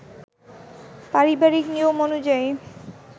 পারিবারিক নিয়ম অনুযায়ী